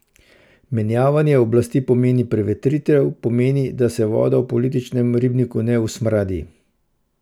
Menjavanje oblasti pomeni prevetritev, pomeni, da se voda v političnem ribniku ne usmradi.